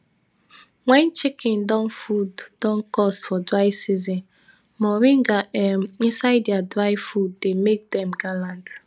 wen chicken don food don cost for dry season moringa um inisde dia dry food dey make dem gallant